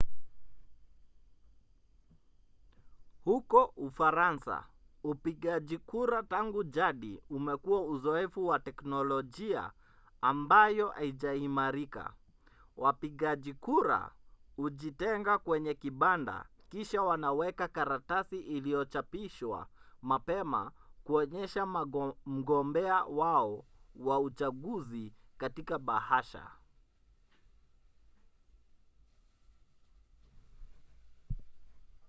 huko ufaransa upigaji kura tangu jadi umekuwa uzoefu wa teknolojia ambayo haijaimarika: wapigaji kura hujitenga kwenye kibanda kisha wanaweka karatasi iliyochapishwa mapema kuonyesha mgombea wao wa uchaguzi katika bahasha